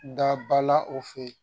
Dabala o fɛ yen